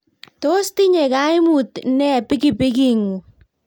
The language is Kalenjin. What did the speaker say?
Tos tinyei kaimut ne pikipiking�ng?